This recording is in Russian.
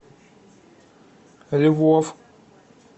львов